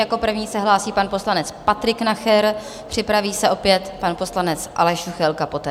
Jako první se hlásí pan poslanec Patrik Nacher, připraví se opět pan poslanec Aleš Juchelka poté.